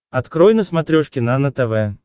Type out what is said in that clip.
открой на смотрешке нано тв